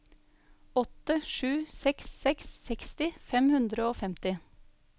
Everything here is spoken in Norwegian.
åtte sju seks seks seksti fem hundre og femti